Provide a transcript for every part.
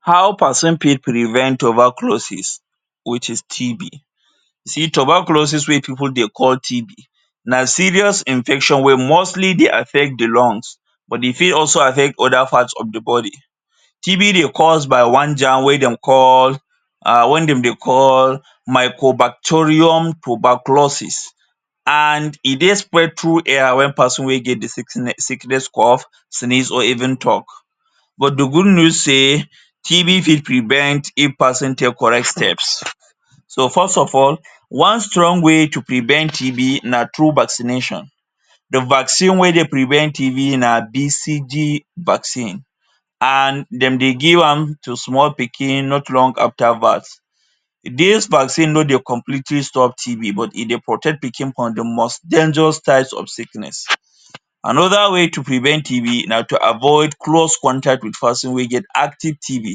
How person fit prevent tuberculosis which is TB? See tuberculosis wey people dey call TB na serious infection wey mostly dey affect the lungs but e fit also affect other parts of the body. TB dey cause by one germ wey dem call um wey dem dey call micro- bacterium tuberculosis and e dey spread through air wen person wey get the? sickness, cough, sneeze or even talk. But the good news say TB fit prevent if person take correct steps. So first of all, one strong way to prevent TB na through vaccination. The vaccine wey dey prevent TB na BCG vaccine and dem dey give am to small pikin not long after birth. Dis vaccine no dey completely stop TB but e dey protect pikin from the most dangerous types of sickness. Another way to prevent TB na to avoid close contact wit person wey get active TB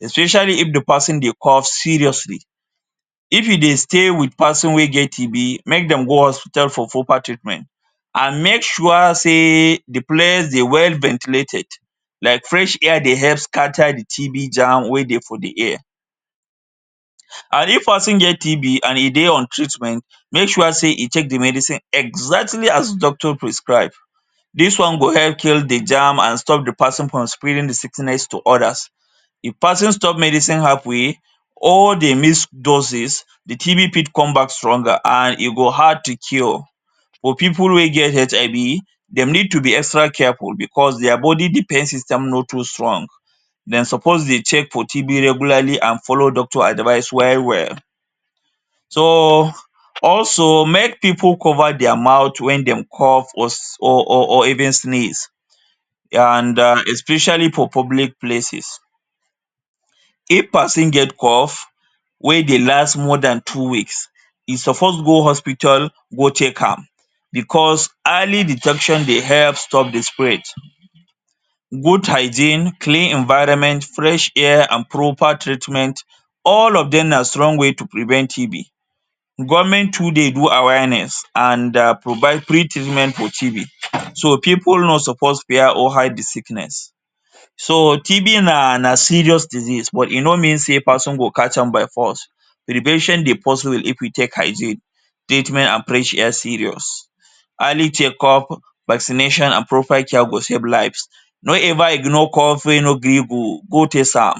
especially if the person dey cough seriously. If you dey stay with person wey get TB, make dem go hospital for proper treatment and make sure say the place dey well ventilated like fresh air dey help scatter the TB germ wey dey for the air and if person get TB and e dey on treatment, make sure say e take the medicine exactly as doctor prescribe. Dis one go help cure the germ and stop the person from spreading the sickness to others. If person stop medicine half way or dey miss doses, the TB fit come back stronger and e go hard to cure. For people wey get HIV, dem need to be extra careful because their body defense system no too strong. Dem suppose dey take? regularly and follow doctor advice well well. So also, make people cover their mouth wen dem cough or? even sneeze and um especially for public places. If person get cough wey dey last more than two weeks e suppose go hospital go check am because early detection dey help stop the spread. Good hygiene, clean environment, fresh air and proper treatment all of dem na strong way to prevent TB. Government too dey do awareness and provide free treatment for TB. So people no suppose fear or hide the sickness. So TB na na serious disease but e no mean say person go catch am by force. Prevention dey possible if we take hygiene, treatment and fresh air serious. Early checkup, vaccination and proper care go save lives. Don't ever ignore cough wey no gree go. Go test am.